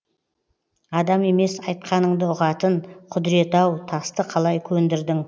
адам емес айтқаныңды ұғатын құдіреті ау тасты қалай көндірдің